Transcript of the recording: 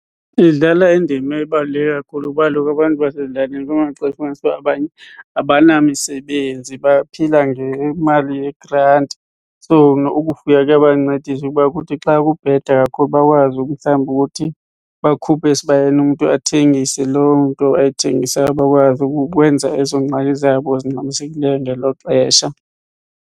Idlala indima ebaluleke kakhulu kuba kaloku abantu basezilalini kumaxesha ufumanise uba abanye abanamisebenzi baphila ngemali yegranti. So, nokufuya kuyabancedisa ukuba kuthi xa kubheda kakhulu bakwazi umhlambi ukuthi bakhuphe esibayeni umntu athengise loo nto ayithengisayo bakwazi ukwenza ezo ngxaki zabo zingxamisekileyo ngelo xesha.